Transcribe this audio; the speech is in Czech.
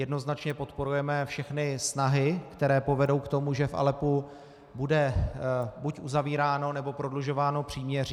Jednoznačně podporujeme všechny snahy, které povedou k tomu, že v Aleppu bude buď uzavíráno, nebo prodlužováno příměří.